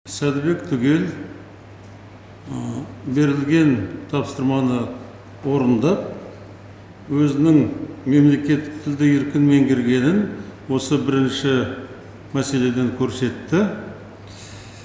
сәдібек түгел берілген тапсырманы орындап өзінің мемлекеттік тілді еркін меңгергенін осы бірінші мәселеден көрсетті